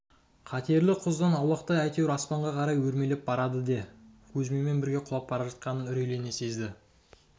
қатерлі құздан аулақтап әйтеуір аспанға қарай өрмелеп барады де кузьминмен бірге құлап бара жатқанын үрейлене сезді